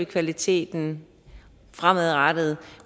kvaliteten fremadrettet